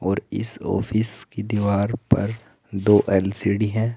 और इस ऑफिस की दीवार पर दो एल_सी_डी है।